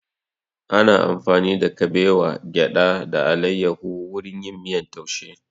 Ana amfani da kabewa, gyada da alayahu wurin yin miyan taushe